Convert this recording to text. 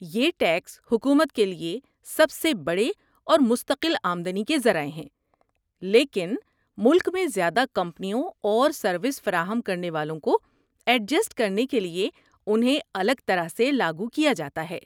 یہ ٹیکس حکومت کے لیے سب سے بڑے اور مستقل آمدنی کے ذرائع ہیں لیکن ملک میں زیادہ کمپنیوں اور سروس فراہم کرنے والوں کو ایڈجسٹ کرنے کے لیے انہیں الگ طرح سے لاگو کیا جاتا ہے۔